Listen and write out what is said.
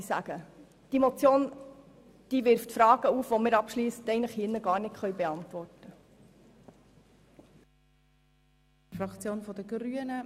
Die Motion wirft Fragen auf, die wir hier gar nicht abschliessend beantworten können.